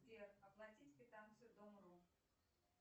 сбер оплатить квитанцию дом ру